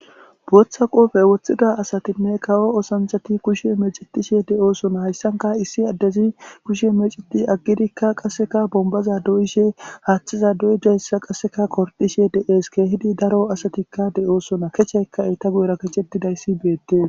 Boththa qoppe woththida asatinne kawo oththanichchatti kawo oththanichchatti kushshe meecetishshe de'osona. hayissanikka issi adezzi kushshe meceti agiddkka qasekke bonibaza doyishshe haththezza doyidayissa gordishshe de'ees.kehiddi daro asatikka de'osona.kechchayikka eta guyera kechchetidayiss betees.